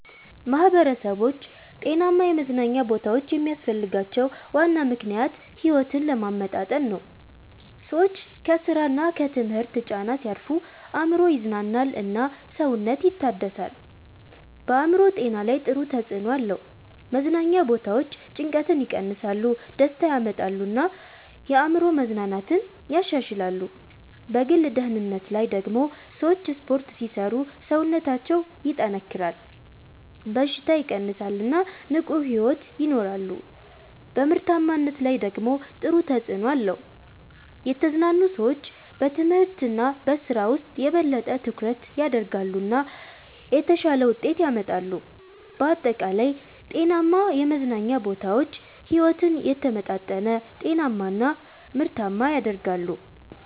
ማህበረሰቦች ጤናማ የመዝናኛ ቦታዎች የሚያስፈልጋቸው ዋና ምክንያት ሕይወትን ለማመጣጠን ነው። ሰዎች ከስራ እና ከትምህርት ጫና ሲያርፉ አእምሮ ይዝናናል እና ሰውነት ይታደሳል። በአእምሮ ጤና ላይ ጥሩ ተጽዕኖ አለው። መዝናኛ ቦታዎች ጭንቀትን ይቀንሳሉ፣ ደስታ ያመጣሉ እና የአእምሮ መዝናናትን ያሻሽላሉ። በግል ደህንነት ላይ ደግሞ ሰዎች ስፖርት ሲሰሩ ሰውነታቸው ይጠናከራል፣ በሽታ ይቀንሳል እና ንቁ ሕይወት ይኖራሉ። በምርታማነት ላይ ደግሞ ጥሩ ተጽዕኖ አለው። የተዝናኑ ሰዎች በትምህርት እና በስራ ውስጥ የበለጠ ትኩረት ያደርጋሉ እና የተሻለ ውጤት ያመጣሉ። በአጠቃላይ ጤናማ የመዝናኛ ቦታዎች ሕይወትን የተመጣጠነ፣ ጤናማ እና ምርታማ ያደርጋሉ።